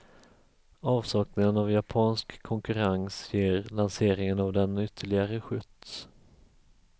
Avsaknaden av japansk konkurrens ger lanseringen av den ytterligare skjuts.